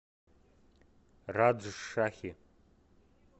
раджшахи